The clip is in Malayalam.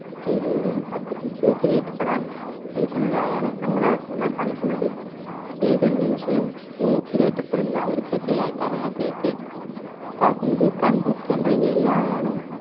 നിൽക്കുന്നതായാണ് നമ്മൾ ആ ഏതൊരു നിമിഷവും തൂക്കിലേറ്റപ്പെടുന്ന ഒരു പ്രതിയായിട്ടാണ് അദ്ദേഹത്തെ കാട്ടുന്നത് കണ്ണൂർ center jail ഇൽ ആയാണ്